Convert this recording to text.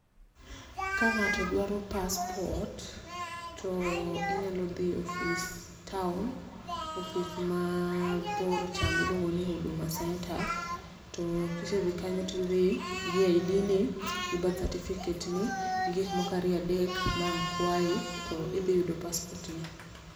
ka ng'ato dwaro passport to inyalo dhi e ofis town ofis mabor cha miluongo ni huduma center. To kisedhi kanyo tidhi gi I D ni , gi birth certificate ni gi gik moko ariyo adek ma ang' kwayi tidhi yudo passport ni.